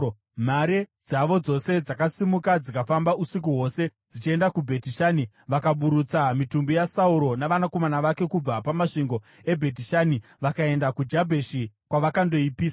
mhare dzavo dzose dzakasimuka dzikafamba usiku hwose dzichienda kuBheti Shani. Vakaburutsa mitumbi yaSauro navanakomana vake kubva pamasvingo eBheti Shani vakaenda kuJabheshi, kwavakandoipisa.